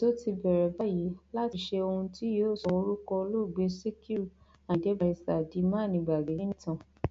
ètò ti bẹrẹ báyìí láti ṣe ohun tí yóò sọ orúkọ olóògbé sikiru ayinde barrister di mánigbàgbé nínú ìtàn